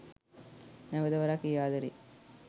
නැවත වරක් ඒ ආදරයේ